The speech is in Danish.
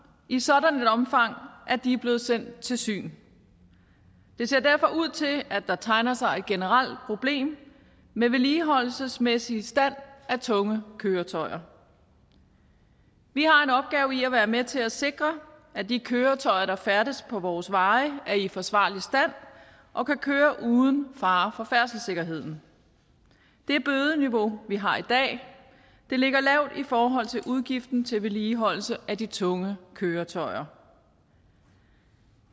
i sådan et omfang at de er blevet sendt til syn det ser derfor ud til at der tegner sig et generelt problem med vedligeholdelsesmæssig stand af tunge køretøjer vi har en opgave i at være med til at sikre at de køretøjer der færdes på vores veje er i forsvarlig stand og kan køre uden fare for færdselssikkerheden det bødeniveau vi har i dag ligger lavt i forhold til udgiften til vedligeholdelse af de tunge køretøjer